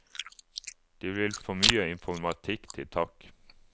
De vil få mye informatikk til takk.